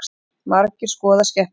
Margir skoða skepnuna